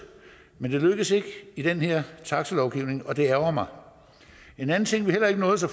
men det lykkedes ikke i den her taxalovgivning og det ærgrer mig en anden ting vi heller ikke nåede så